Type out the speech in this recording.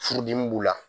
Furudimi b'u la